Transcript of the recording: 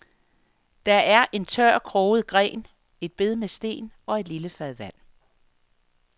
Der er en tør, kroget gren, et bed med sten og et lille fad vand.